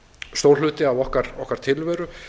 stór hluti af okkar tilveru